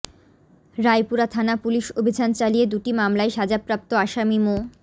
রায়পুরা থানা পুলিশ অভিযান চালিয়ে দুটি মামলায় সাজাপ্রাপ্ত আসামি মো